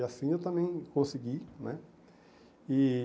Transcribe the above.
E assim eu também consegui, né? E